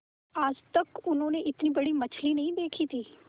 आज तक उन्होंने इतनी बड़ी मछली नहीं देखी थी